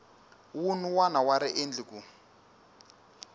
wun wana wa riendli ku